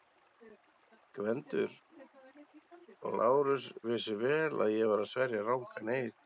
GVENDUR: Lárus vissi vel að ég var að sverja rangan eið.